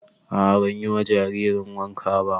A'a ban yi wa jaririn wanka ba